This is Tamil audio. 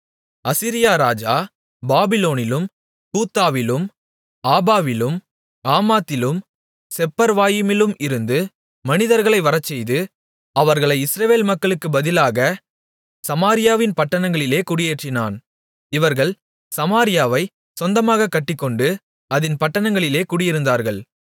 அசீரியா ராஜா பாபிலோனிலும் கூத்தாவிலும் ஆபாவிலும் ஆமாத்திலும் செப்பர்வாயிமிலும் இருந்து மனிதர்களை வரச்செய்து அவர்களை இஸ்ரவேல் மக்களுக்குப் பதிலாகச் சமாரியாவின் பட்டணங்களிலே குடியேற்றினான் இவர்கள் சமாரியாவைச் சொந்தமாகக் கட்டிக்கொண்டு அதின் பட்டணங்களிலே குடியிருந்தார்கள்